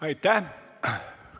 Aitäh!